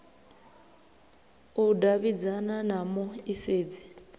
u davhidzana na mu isedzi